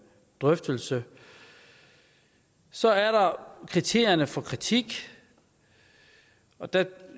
drøftelse så er der kriterierne for kritik og der